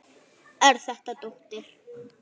Er þetta dóttir.